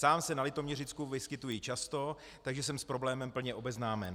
Sám se na Litoměřicku vyskytuji často, takže jsem s problémem plně obeznámen.